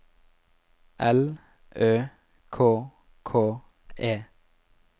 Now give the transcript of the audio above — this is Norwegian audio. L Ø K K E